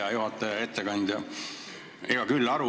Hea juhataja ja ettekandja!